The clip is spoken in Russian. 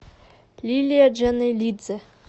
лилия джанелидзе